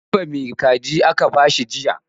Kilifa mai caji aka ba shi jiya